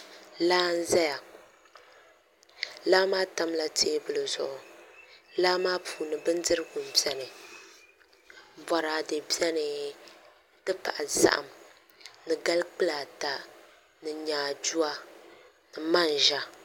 Laa n ʒɛya laa maa tamla teebuli zuɣu laa maa puuni bindirigu n biɛni boraadɛ biɛni n ti pahi zaham ni gali kpulaa ata ni nyaaduwa ni manʒa